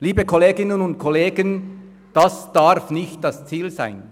Liebe Kolleginnen und Kollegen, das darf nicht das Ziel sein.